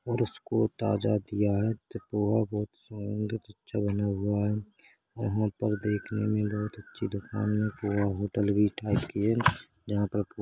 और उसको ताजा तियात -- बहुत अच्छा बना हुआ है वहाँ पर देखने में बहोत अच्छी दुकान में होटल भी टाइप की है जहाँ पर--